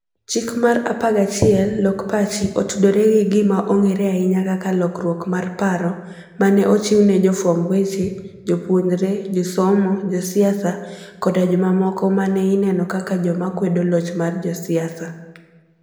Chik mar 11: 'Lok Pachi,' otudore gi gima ong'ere ahinya kaka 'lokruok mar paro' ma ne ochiw ne jofwamb weche, jopuonjre, josomo, josiasa, koda jomamoko ma ne ineno kaka joma kwedo loch mar josiasa.